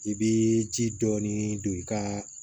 I bɛ ji dɔɔni don i ka